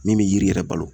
Min bɛ yiri yɛrɛ balo